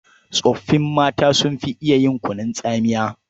Tsoffi mata sun fi iya yin kunun tsamiya.